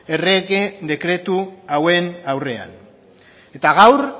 errege dekretu hauen aurrean eta gaur